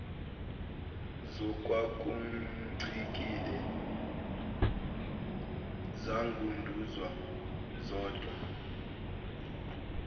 ngokwakumcikile zangunduza zodwa